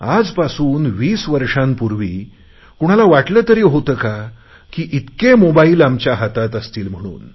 आजपासून वीस वर्षांपूर्वी कोणाला वाटले तरी होते का की इतके मोबाईल आमच्या हातात असतील म्हणून